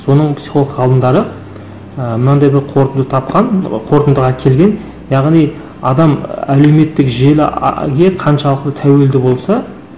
соның психолог ғалымдары ы мынандай бір қорытынды тапқан ы қорытындыға келген яғни адам і әлеуметтік желі қаншалықты тәуелді болса